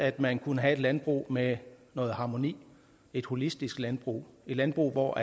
at man kunne have et landbrug med noget harmoni et holistisk landbrug landbrug hvor